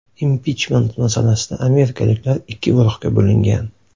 Impichment masalasida amerikaliklar ikki guruhga bo‘lingan.